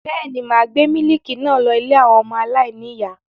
Bẹ́ẹ̀ ni, mà á gbé mílíkì náà lọ ilé àwọn ọmọ aláìníìyá.